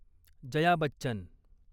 Jaya Bachchan